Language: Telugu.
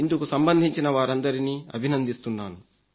ఇందుకు సంబంధించిన వారందరినీ అభినందిస్తున్నాను